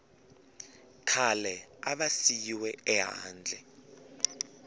khale a va siyiwe ehandle